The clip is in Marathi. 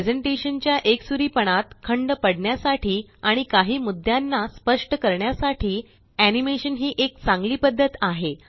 प्रेज़ेंटेशन च्या एकसुरीपणात खंड पडण्यासाठी आणि काही मुद्दाना स्पष्ट करण्यासाठी एनीमेशन ही एक चांगली पद्धत आहे